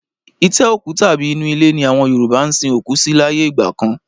Itẹ́ òkú tàbí inú ilé ni àwọn Yoruba ń sin òkú sí láyé ìgbà kan